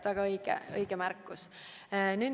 Väga õige märkus!